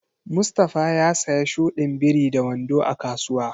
Mustafa ya siya shudin biri da wando a kasuwa.